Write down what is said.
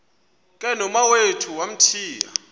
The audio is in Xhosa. ke nomawethu wamthiya